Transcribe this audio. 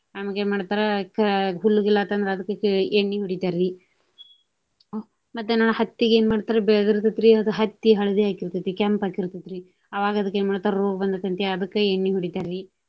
ಅಮ್ಯಾಗ ಏನ್ ಮಾಡತಾರೆ ಕ ಹುಲ್ಲ ಗಿಲ್ಲ ಆತ ಅಂದ್ರ ಅದಕ್ಕೂ ಎಣ್ಣಿ ಹೊಡಿತಾರಿ ಮತ್ತ ಏನ್ ಹತ್ತಿಗ ಏನ್ ಮಾಡ್ತಾರ ಬೆಳದಿರ್ತೆತ್ರಿ ಅದ ಹತ್ತಿ ಹಳದಿ ಆಕ್ಕಿರ್ತೆತಿ, ಕೆಂಪ ಆಕ್ಕಿರ್ತೆತಿ ಅವಾಗ ಅದ್ಕೆನ ಏನ್ ಮಾಡ್ತಾರ ರೋಗ ಬಂದೇತಿ ಅಂತ ಹೇಳಿ ಅದಕ್ಕ ಎಣ್ಣಿ ಹೊಡೀತಾರಿ.